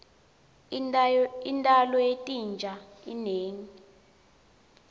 intalo yetinja inengi